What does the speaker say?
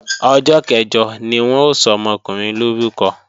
Ọjọ́ kẹ̀jọ ni wọ́n ó sọmọkùnrin lórúkọ